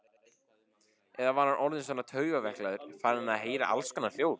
Eða var hann orðinn svona taugaveiklaður, farinn að heyra allskonar hljóð?